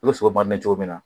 U bɛ sogo cogo min na